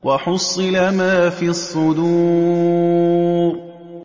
وَحُصِّلَ مَا فِي الصُّدُورِ